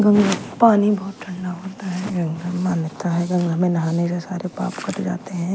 गंगा का पानी बहोत ठंडा होता है गंगा में मान्यता है गंगा में नहाने से सारे पाप कट जाते है।